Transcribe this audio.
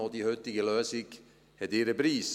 Auch die heutige Lösung hat ihren Preis.